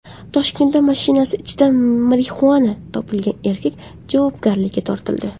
Toshkentda mashinasi ichidan marixuana topilgan erkak javobgarlikka tortildi.